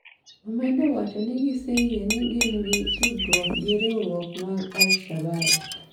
Omedo wacho ni giseyie ni gin gi tudruok gi riwruok mar Al Shabaab.